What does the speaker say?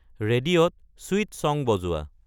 ৰেডিঅ'ত sweet song বজোৱা